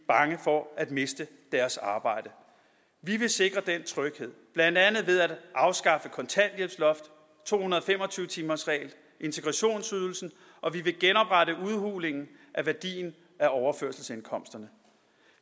bange for at miste deres arbejde vi vil sikre den tryghed blandt andet ved at afskaffe kontanthjælpsloftet to hundrede og fem og tyve timersreglen integrationsydelsen og vi vil genoprette udhulingen af værdien af overførselsindkomsterne